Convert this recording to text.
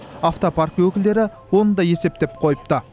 автопарк өкілдері оны да есептеп қойыпты